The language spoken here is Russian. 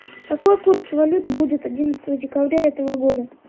какой курс валют будет одиннадцатого декабря этого года